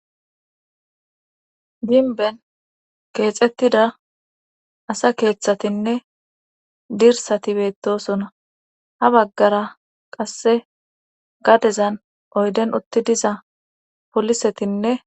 ginben keexettida asa keeththatinne dirsati beettosona ha baggara qasse gadezan oyden utti diza polisetinne